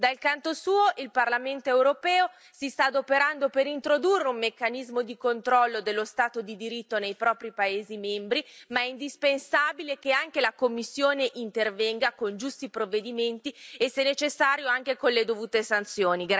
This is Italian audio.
Dal canto suo il Parlamento europeo si sta adoperando per introdurre un meccanismo di controllo dello Stato di diritto nei propri paesi membri, ma è indispensabile che anche la Commissione intervenga con giusti provvedimenti e, se necessario, anche con le dovute sanzioni.